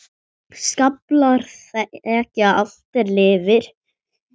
Skaflar þekja allt er lifir.